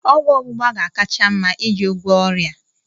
Ọgwụ ọgbụgba ga-akacha mma iji gwọọ ọrịa a